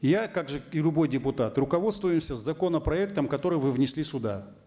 я как же и любой депутат руководствуемся законопроектом который вы внесли сюда